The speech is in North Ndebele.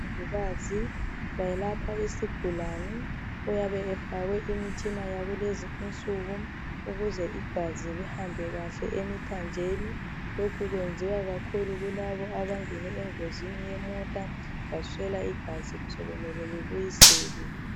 Umongikazi welapha isigulane oyabe efakwe imitshina yakulezi insuku, ukuze igazi lihambe kahle emithanjeni lokhu kwenziwa kakhulu kulabo abangene engozini yemota baswela igazi sokumele libuyiselwe.